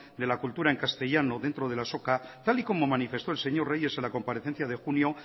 de la cultura en castellano dentro de la azoka tal y como manifestó el señor reyes en la comparecencia de junio